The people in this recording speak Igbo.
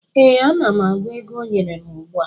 Ee, ana m agụ ego ọ nyere m ugbu a